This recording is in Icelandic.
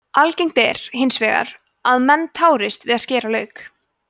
algengt er hins vegar að menn tárist við að skera lauk